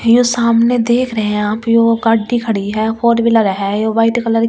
ये सामने देख रहे है आप यो गाड़ी खड़ी है फोर व्हलीर है यो वाइट कलर की है ।